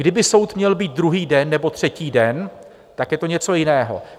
Kdyby soud měl být druhý den nebo třetí den, tak je to něco jiného.